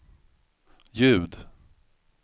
ljud